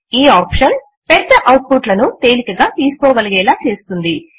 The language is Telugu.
ఈ ఆప్షన్ పెద్ద అవుట్ పుట్ ల ను తేలికగా తీసుకోగలిగేలా చేస్తుంది